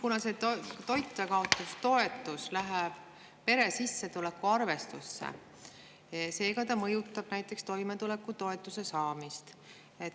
Kuna see toitjakaotustoetus läheb pere sissetuleku arvestusse, siis see mõjutab ka näiteks toimetulekutoetuse saamist.